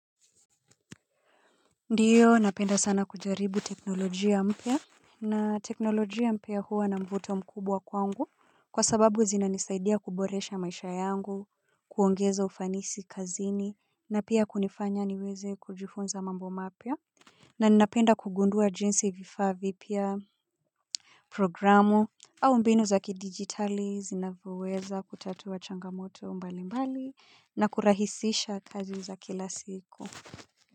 Ndiyo napenda sana kujaribu teknolojia mpya. Na teknolojia mpya huwa na mvuto mkubwa kwangu kwa sababu zinanisaidia kuboresha maisha yangu kuongeza ufanisi kazini na pia kunifanya niweze kujifunza mambo mapya. Na ninapenda kugundua jinsi vifaa vipya programu au mbinu za kidigitali zinavyoweza kutatuwa changamoto mbali mbali na kurahisisha kazi za kila siku.